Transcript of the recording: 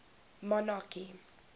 monarchy